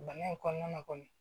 Bana in kɔnɔna na kɔni